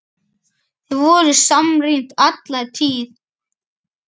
Þið voruð samrýnd alla tíð.